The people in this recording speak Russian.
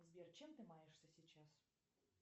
сбер чем ты маешься сейчас